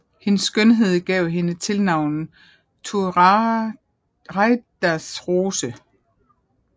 Hendes skønhed gav hende tilnavnet Turaidas Rose